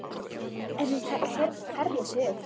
En hún herðir sig upp.